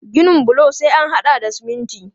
Ginin bulo sai an haɗa da siminti.